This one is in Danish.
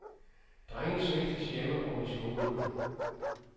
Drenge svigtes hjemme og i skolen.